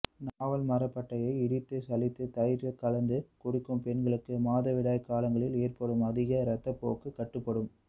நாவல் மரப்பட்டையை இடித்து சலித்து தயிரில் கலந்து குடிக்க பெண்களுக்கு மாதவிடாய் காலங்களில் ஏற்படும் அதிக ரத்தப்போக்கு கட்டுப்படும்